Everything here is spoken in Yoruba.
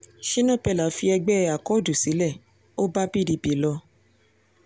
shina peller fi ẹgbẹ́ akọ́ọ̀dù sílẹ̀ ó bá pdp lọ